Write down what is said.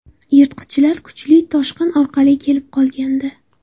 Yirtqichlar kuchli toshqin orqali kelib qolgandi.